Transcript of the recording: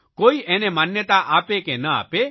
કોઇ એને માન્યતા આપે કે ન આપે